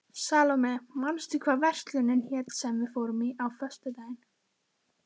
Salóme, manstu hvað verslunin hét sem við fórum í á föstudaginn?